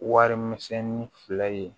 Warimisɛnni fila ye